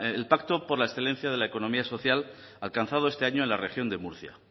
es decir el pacto por la excelencia de la economía social alcanzado este año en la región de murcia